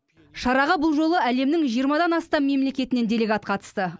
шараға бұл жолы әлемнің жиырмадан астам мемлекетінен делегат қатысты